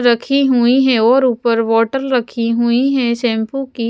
रखी हुई हैं और ऊपर बोटल रखी हुई है शैंपू की --